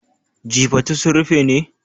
Jifatu sun rufe ne?